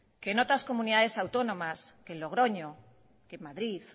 que otras comunidades autónomas que en logroño que en madrid